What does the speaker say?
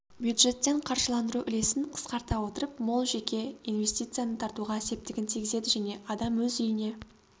бюджеттен қаржыландыру үлесін қысқарта отырып мол жеке инвестицияны тартуға септігін тигізеді және адам өз үйіне